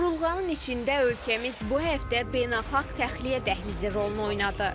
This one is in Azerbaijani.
Burulğanın içində ölkəmiz bu həftə beynəlxalq təxliyə dəhlizi rolunu oynadı.